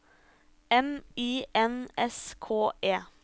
M I N S K E